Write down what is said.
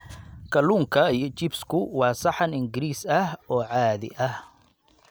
Kalluunka iyo chips-ku waa saxan Ingiriis ah oo caadi ah.